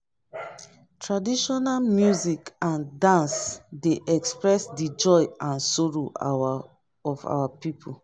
traditional music and dance dey express the joy and sorrow of our people